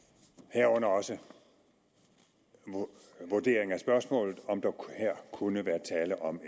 herunder også en vurdering af spørgsmålet om der her kunne være tale om